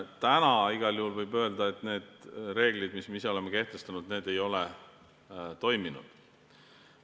Täna võib igal juhul öelda, et need reeglid, mis me ise oleme kehtestanud, ei ole toiminud.